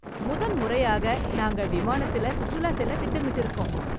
முதன்முறையாக நாங்க விமானத்தில் சுற்றுலா செல்ல திட்டமிட்டு இருக்கிறோம்.